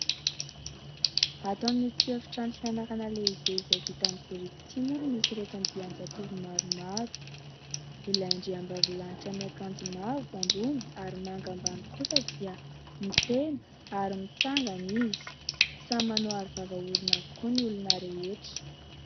Ato amin'ity efitrano fianarana lehibe izay vita amin'ny biriky ity moa no misy ireto andian-jatovo maromaro. Ilay andriambavilanitra miakanjo mavo ambony ary manga ambany kosa dia miteny ary mitsangana izy. Samy manao aro vava orona avokoa ny olona rehetra.